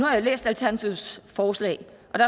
at have læst alternativets forslag